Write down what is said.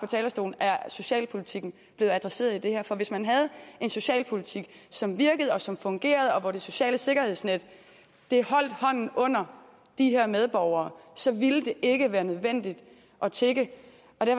talerstolen er socialpolitikken blevet adresseret i det her for hvis man havde en socialpolitik som virkede som fungerede og hvor det sociale sikkerhedsnet holdt hånden under de her medborgere så ville ikke være nødvendigt at tigge